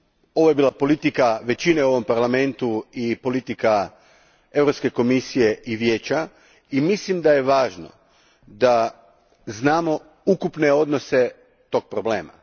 Ovo je bila politika većine u ovom Parlamentu i politika Europske komisije i Vijeća, i mislim da je važno da znamo ukupne odnose tog problema.